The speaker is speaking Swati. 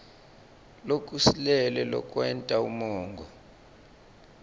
lokusilele lokwenta umongo